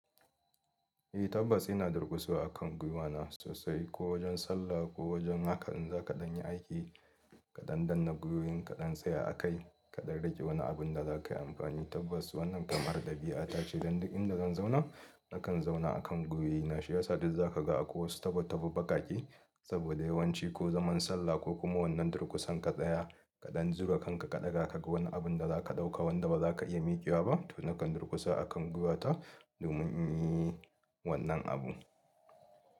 Eh tabbas ina durkusa a kan gwiwana sosai ko wajen sallah ko wajen haka in za kaɗan yi aiki ka ɗan dannna gwiwoyin kaɗan tsaya a kai ka ɗan rage wani abun da za ka yi amfani. Tabbas wannan kamar dabi'a ta ce dan duk inda zan zauna nakan zauna a kan gwiwoyi na. Shiyasa dai za ka ga akwai wasu taba taba baƙaƙe saboda yawanci ko zaman sallah ko kuma wannan durkusan kaɗaya kaɗan zura kanka ka ɗaga ka ga wani abun da za ka ɗauka wanda ba za ka iya miƙewa ba to nakan durkusa a kan giwata domin in yi wannan abu.